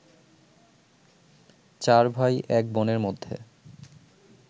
চার ভাই, এক বোনের মধ্যে